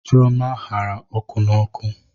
Chioma gbara ọkụ n'oku.